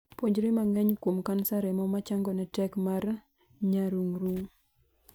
Puonjri mang'eny kuom kansa remo machangone tek mar nyarung'rung'.